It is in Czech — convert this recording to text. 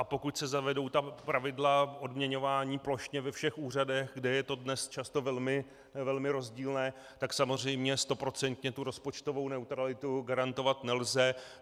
A pokud se zavedou ta pravidla odměňování plošně ve všech úřadech, kde je to dnes často velmi rozdílné, tak samozřejmě stoprocentně tu rozpočtovou neutralitu garantovat nelze.